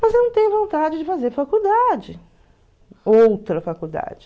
Mas eu não tenho vontade de fazer faculdade, outra faculdade.